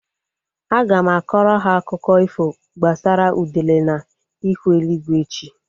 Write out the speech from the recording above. Aga m akọrọ ha akụkọ ifo gbasara udele na ihu eluigwe echi